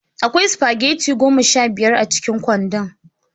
Akwai spaghetti goma sha biyar a cikin kwandon.